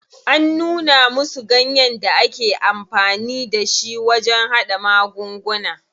An nuna musu ganyen da ake amfani da shi wajen haɗa magunguna.